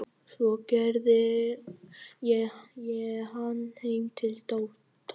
Svo keyrði ég hann heim til Tóta.